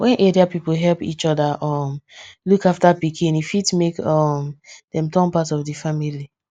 wen area people help each other um look after pikin e fit make um dem turn part of the family